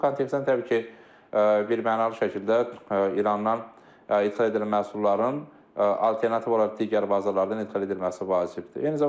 Bu kontekstdə təbii ki, birmənalı şəkildə İrandan ixal edilən məhsulların alternativ olaraq digər bazalardan ixal edilməsi vacibdir.